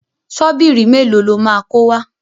Ṣọ́bìrì mélòó lo máa kó wá?